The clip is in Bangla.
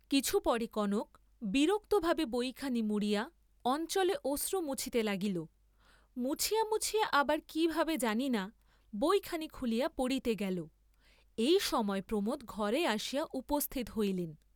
কিছু পরে কনক বিরক্তভাবে বইখানি মুড়িয়া অঞ্চলে অশ্রু মুছিতে লাগিল, মুছিয়া মুছিয়া আবার কি ভাবে জানি না, বইখানি খুলিয়া পড়িতে গেল, এই সময় প্রমোদ ঘরে আসিয়া উপস্থিত হইলেন।